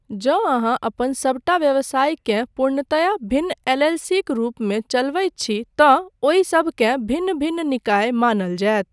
जँ अहाँ अपन सबटा व्यवसायकेँ पूर्णतया भिन्न एल.एल.सी.क रूपमे चलबैत छी तँ ओहि सबकेँ भिन्न भिन्न निकाय मानल जायत।